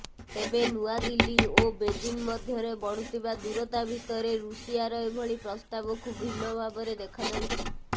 ତେବେ ନୂଆଦିଲ୍ଲୀ ଓ ବେଜିଂ ମଧ୍ୟରେ ବଢୁଥିବା ଦୂରତା ଭିତରେ ଋଷିଆର ଏଭଳି ପ୍ରସ୍ତାବକୁ ଭିନ୍ନ ଭାବରେ ଦେଖାଯାଉଛି